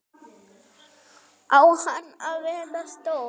Á hann að vera stór?